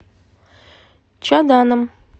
чаданом